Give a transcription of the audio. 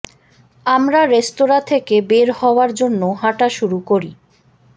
আমরা রেস্তোরাঁ থেকে বের হওয়ার জন্য হাঁটা শুরু করি